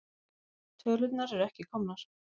Tölurnar eru ekki komnar.